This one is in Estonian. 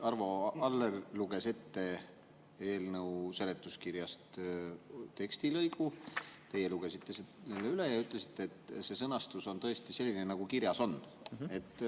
Arvo Aller luges ette eelnõu seletuskirjast tekstilõigu, teie lugesite üle ja ütlesite, et see sõnastus on tõesti selline, nagu kirjas on.